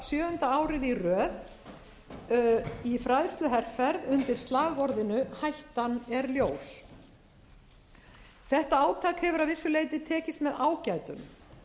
sjöunda árið í röð í fræðsluherferð undir slagorðinu hættan er ljós þetta átak hefur að vissu leyti tekist með ágætum